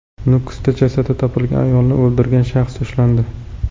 Nukusda jasadi topilgan ayolni o‘ldirgan shaxs ushlandi.